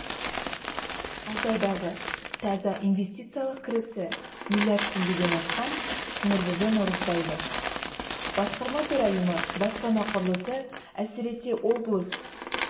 алты айдағы таза инвестициялық кірісі миллиард теңгеден асқан нұрбүбі наурызбаева басқарма төрайымы баспана құрылысы әсіресе облыс